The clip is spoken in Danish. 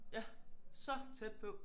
Ja så tæt på!